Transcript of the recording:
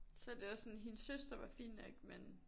Så det var sådan hendes søster var fin nok men